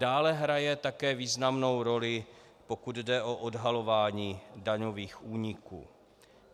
Dále hraje také významnou roli, pokud jde o odhalování daňových úniků.